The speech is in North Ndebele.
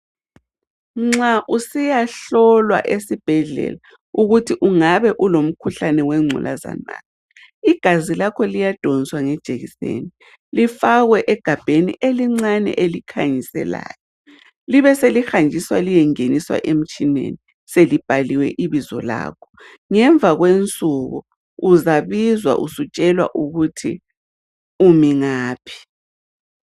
Nxa usiyahlolwa esibhedlela ukuthi ungabe ulomkhuhlane wengculaza na, igazi lakho liyadonswa ngejekiseni lifakwe egabheni elincane elikhanyiselayo libe selihanjiswa liyengeniswa emtshineni, selibhaliwe ibizo lakho. Ngemva kwensuku, uzabizwa usiyatshelwa ukuthi umi ngaphi.